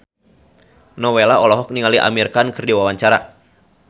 Nowela olohok ningali Amir Khan keur diwawancara